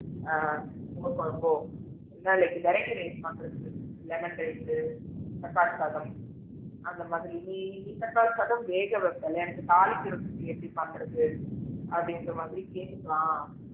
ஆ மோர் குழம்போ இல்லைனா like variety rice பண்றதுக்கு லெமன் ரைஸ்சு தக்காளி சாதம் அந்த மாதிரி நீ தக்காளி சாதம் வேக வைப்பீல எனக்கு தாளிக்கிரதுக்கு எப்படி பண்றது அப்படிங்கற மாதிரி கேட்டுக்கலாம்